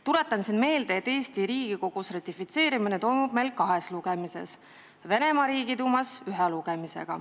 Tuletan meelde, et Eesti Riigikogus on ratifitseerimiseks vaja kahte lugemist, Venemaa Riigiduumas ühte.